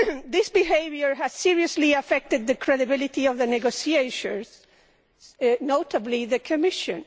This behaviour has seriously affected the credibility of the negotiators, notably the Commission.